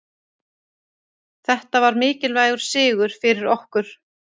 Þetta var mikilvægur sigur fyrir okkur